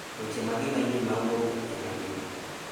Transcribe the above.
Weche mage manyien mawuok epiny mangima